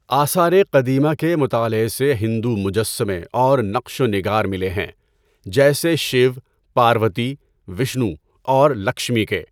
آثار قدیمہ کے مطالعے سے ہندو مجسمے اور نقش و نگار ملے ہیں جیسے شیو، پاروتی، وشنو اور لکشمی کے۔